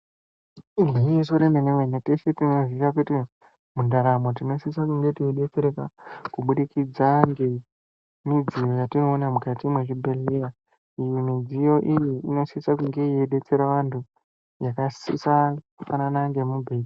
Igwinyiso remene mene teshe tinozviziye kuti mundaramo tinosise kunge teidetsereka kuburikidza ngemidziyo yatinoona mukati mwezvibhedhlera , iyi midziyo iyi inosise kunge yeidetsera vantu vakasise kufanana ngemubhe.